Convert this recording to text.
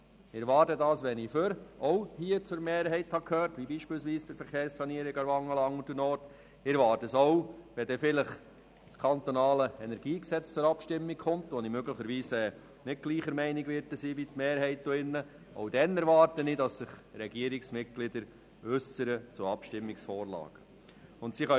Ich erwarte es, wenn ich zur Mehrheit gehört habe, wie dies bei der Verkehrssanierung Aarwangen der Fall war, und ich erwarte es auch, wenn das Kantonale Energiegesetz (KEnG) zur Abstimmung kommt, wo ich möglicherweise nicht derselben Meinung sein werde wie die Mehrheit in diesem Rat.